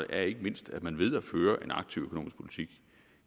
er ikke mindst at man ved at føre en aktiv økonomisk politik